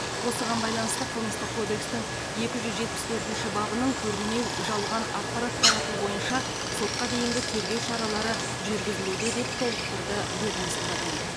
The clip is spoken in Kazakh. осыған байланысты қылмыстық кодекстің екі жүз жетпіс төртінші бабының көрінеу жалған ақпарат тарату бойынша сотқа дейінгі тергеу шаралары жүргізілуде деп толықтырды ведомстводан